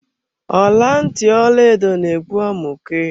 Ọla ntị Ọlaedo na egbu amụke.